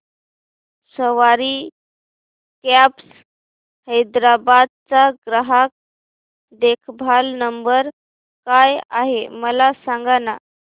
सवारी cabs Hyderabad चा ग्राहक देखभाल नंबर काय आहे मला सांगाना